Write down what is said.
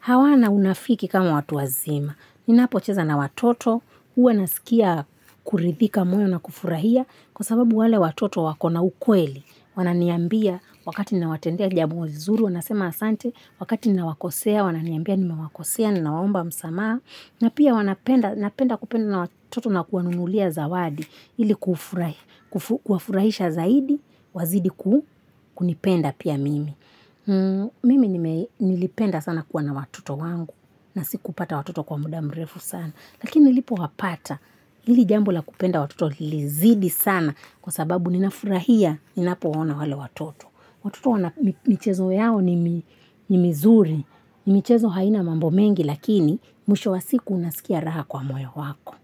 hawana unafiki kama watu wazima. Ninapocheza na watoto, huwa nasikia kuridhika moyo na kufurahia, Kwa sababu wale watoto wakona ukweli, wananiambia wakati ninawatendea jambo zuri, wanasema asante, wakati ninawakosea, wananiambia nimewakosea, ninawaomba msamaa, na pia wanapenda napenda kupenda na watoto na kuwanunulia zawadi, ili kuwafurahisha zaidi, wazidi kunipenda pia mimi. Mimi nilipenda sana kuwa na watoto wangu na sikupata watoto kwa muda mrefu sana Lakini nilipowapata Hili jambo la kupenda watoto lilizidi sana Kwa sababu ninafurahia Ninapowaona wale watoto Watoto wana michezo yao ni mizuri ni michezo haina mambo mengi Lakini mwisho wa siku unasikia raha kwa moyo wako.